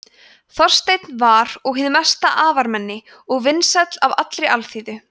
þorsteinn var og hið mesta afarmenni og vinsæll af allri alþýðu